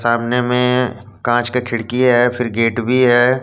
सामने में कांच के खिड़किए है फिर गेट भी है।